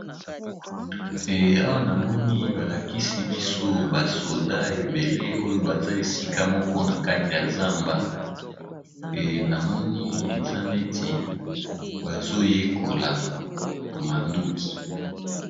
Eh awa namoni balakisi biso basoda ebele oyo baza esika moko na kati ya zamba enamoni eza neti bazoyekola manduki.